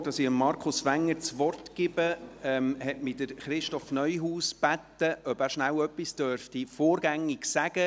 Bevor ich Markus Wenger das Wort gebe, hat mich Christoph Neuhaus gebeten, vorgängig kurz etwas sagen zu dürfen.